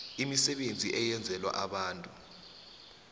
imisebenzi eyenzelwa abantu